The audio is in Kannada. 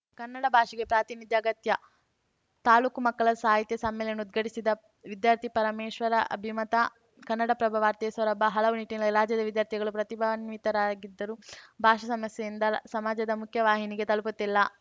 ಕನ್ನಡ ಭಾಷೆಗೆ ಪ್ರಾತಿನಿಧ್ಯ ಅಗತ್ಯ ತಾಲೂಕು ಮಕ್ಕಳ ಸಾಹಿತ್ಯ ಸಮ್ಮೇಳನ ಉದ್ಘಾಟಿಸಿದ ವಿದ್ಯಾರ್ಥಿ ಪರಮೇಶ್ವರ ಅಭಿಮತ ಕನ್ನಡಪ್ರಭ ವಾರ್ತೆ ಸೊರಬ ಹಲವು ನಿಟ್ಟಿನಲ್ಲಿ ಲಾಜ್ಯದ ವಿದ್ಯಾರ್ಥಿಗಳು ಪ್ರತಿಭಾನ್ವಿತರಾಗಿದ್ದರೂ ಭಾಷಾ ಸಮಸ್ಯೆಯಿಂದ ಸಮಾಜದ ಮುಖ್ಯ ವಾಹಿನಿಗೆ ತಲುಪುತ್ತಿಲ್ಲ